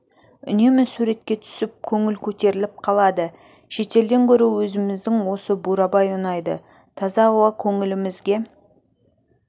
үнемі суретке түсіп көңіл көтеріліп қалады шетелден гөрі өзіміздің осы бурабай ұнайды таза ауа көңілімізге